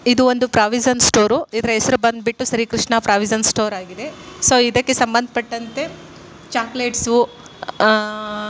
ಇದು ಒಂದು provision store ಇದರ ಹೆಸರು ಬಂದ್ಬಿಟ್ಟು ಶ್ರೀ ಕೃಷ್ಣ ಪ್ರಾವಿಷನ್ ಸ್ಟೋರ್ ಆಗಿದೆ ಇದಕ್ಕೆ ಸಂಬಂಧಪಟ್ಟಂತೆ ಚಾಕಲೇಟ್ಸ್ ಆಹಾ.